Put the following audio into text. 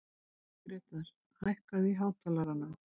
Grétar, hækkaðu í hátalaranum.